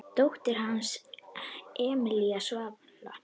Dóttir hans er Emelía Svala.